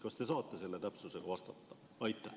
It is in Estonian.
Kas te saate selle täpsusega vastata?